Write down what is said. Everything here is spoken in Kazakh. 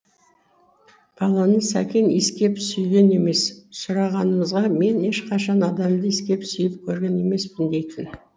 баланы сәкен иіскеп сүйген емес сұрағанымызға мен ешқашан адамды иіскеп сүйіп көрген емеспін дейтін